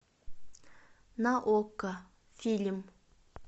на окко фильм